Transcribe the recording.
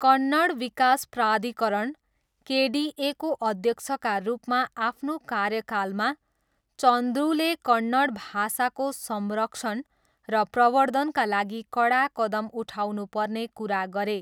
कन्नड विकास प्राधिकरण, केडिएको अध्यक्षका रूपमा आफ्नो कार्यकालमा, चन्द्रुले कन्नड भाषाको संरक्षण र प्रवर्द्धनका लागि कडा कदम उठाउनुपर्ने कुरा गरे।